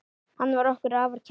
Hann var okkur afar kær.